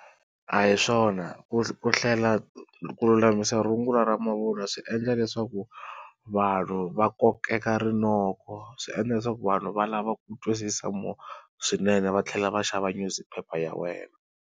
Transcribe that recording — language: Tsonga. A hi swona ku hlela ku lulamisa rungula ra mavun'wa swi endla leswaku vanhu va kokeka rinoko, swi endla leswaku vanhu va lava ku twisisa more swinene va tlhela va xava newspaper ya wena.